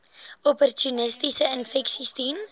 opportunistiese infeksies diens